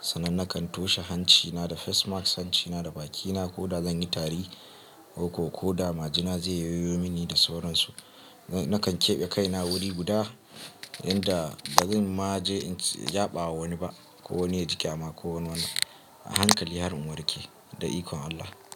sannan nakan toshe hancina da face mask, hancina da bakina ko da zan yi tari ko, ko da majina zai yoyo mini da sauransu. Nakan keɓe kaina wuri guda inda ba zan ma je yaɓa wa wani ba ko wani ya ji ƙyama, kowani ahankali har in warke da ikon Allah.